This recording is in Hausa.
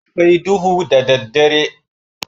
A kwai duhu da daddare.